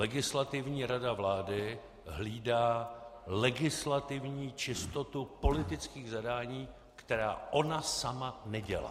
Legislativní rada vlády hlídá legislativní čistotu politických zadání, která ona sama nedělá.